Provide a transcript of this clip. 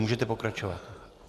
Můžete pokračovat.